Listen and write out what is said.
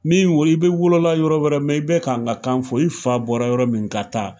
Min we i bɛ wolola yɔrɔ wɛrɛ mɛ i bɛ k'an ka kan fɔ i fa bɔra yɔrɔ min ka taa.